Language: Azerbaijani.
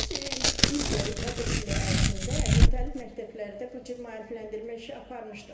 Biz il boyu tədris ili ərzində müxtəlif məktəblərdə bu cür maarifləndirmə işi aparmışdıq.